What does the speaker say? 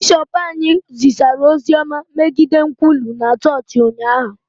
bishọp anyị kwusara ozi ọma megide nkwulu na chọọchị ụnyahụ